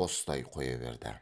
қостай қоя берді